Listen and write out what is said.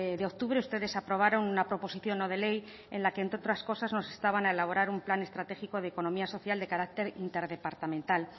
de octubre ustedes aprobaron una proposición no de ley en la que entre otras cosas nos instaban a elaborar un plan estratégico de economía social de carácter interdepartamental